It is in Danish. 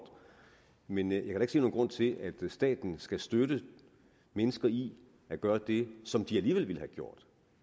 men jeg kan se nogen grund til at staten skal støtte mennesker i at gøre det som de alligevel ville have gjort